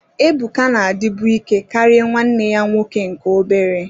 Ebuka na-adịbu ike karịa nwanne ya nwoke nke obere